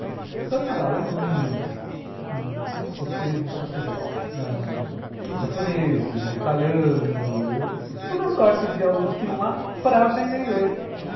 Então tinha lá alemães ãh escoceses, escoceses não, japoneses, italianos, toda sorte de alunos que iam lá para aprender inglês.